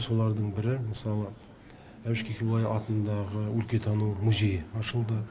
солардың бірі мысалы әбіш кекілбай атындағы өлкетану музейі ашылды